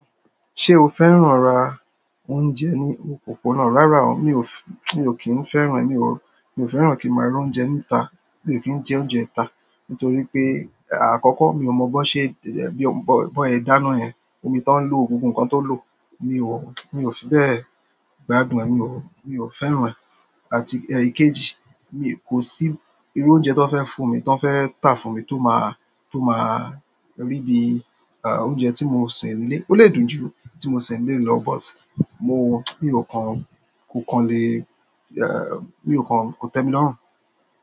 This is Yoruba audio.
Ṣé o fẹ́ràn ra oúnjẹ ní òpópónà? Rárá o, mi ò f--, mi ò kí ń fẹ́ràn, èmi ò, mi ò fẹ́ràn kí n má ra oúnjẹ níta, mi ò kí ń jẹ oúnjẹ ita. Nítorí pé àkọ́kọ́ mi ò mọ bọ́ ṣe bí bọ, bọ sẹ dáná yẹn, omi tọ́ ń lò, gbogbo nǹkan tó lò, mi ò, mi ò fi bẹ́ẹ̀ gbádùn ẹ, mi ò, mi ò fẹ́ràn ẹ. Àti ẹ kejì, mi kò sí irú oúnjẹ tí wọn fẹ́ fún mi, tí wọn fẹ́ tà fún mi tó má, tó má rí bí, ah, oúnjẹ tí mo ṣè nínú ilé. Ó lè dùn jù tí mo ṣè nínú ilé lọ, but mo, mi ò kan, kò kan lé, hẹm, mi ò kan, kò tẹ́mi lọ́hùn.